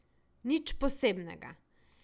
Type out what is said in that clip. Nič posebnega.